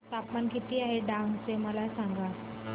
तापमान किती आहे डांग चे मला सांगा